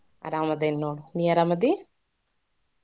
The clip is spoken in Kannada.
ಅರಾಮದೇನ ನೋಡ ನೀ ಅರಾಮದಿ?